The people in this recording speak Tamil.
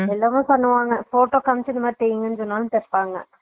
இது எல்லாமே பண்ணுவாங்க photo காமிச்சு இதுமாதிரி தைங்கன்னு சொன்னாலும் தேப்பாங்க